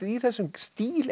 í þessum stíl